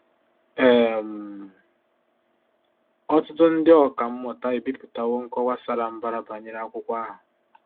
um Ọtụtụ ndị ọkà mmụta ebipụtawo nkọwa sara mbara banyere akwụkwọ ahụ.